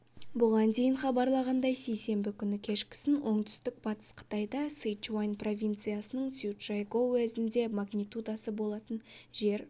бұған дейін хабарланғандай сейсенбі күні кешкісін оңтүстік батыс қытайда сычуань провинциясының цзючжайгоу уезінде магнитудасы болатын жер